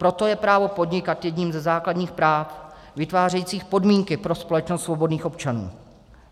Proto je právo podnikat jedním ze základních práv vytvářejících podmínky pro společnost svobodných občanů.